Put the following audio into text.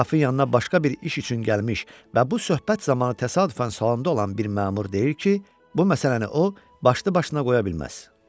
Qrafın yanına başqa bir iş üçün gəlmiş və bu söhbət zamanı təsadüfən salonda olan bir məmur deyir ki, bu məsələni o başdıbaşına qoya bilməz.